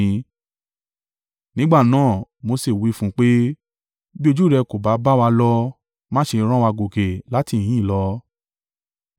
Nígbà náà ni, Mose wí fún un pé, “Bí ojú rẹ kò bá bá wa lọ, má ṣe rán wa gòkè láti ìhín lọ.